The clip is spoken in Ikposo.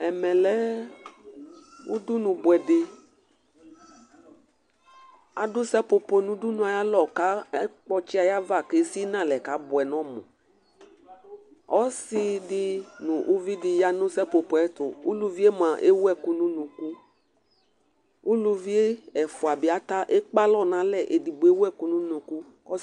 Ɛmɛlɛ ʊɗʊnʊ ɓʊɛɗɩ aɗʊ sapopo nʊ ʊɗʊnʊ ƴɛ aƴalɔ aƙpɔtsɩ aƴaʋa ƙaɓʊɛnɔmʊ ɔsɩɗɩ nʊ ʊʋɩɗɩƴanʊ sapopo ƴɛtʊ ʊlʊɩemʊa ewu ɛƙʊnʊ ʊnʊƙʊ ʊlʊʋɩ ɛfʊaɓɩ eƙpalɔ nalɛ eɗɩgbo ewʊ ɛƙʊ nʊ ʊnʊƙʊ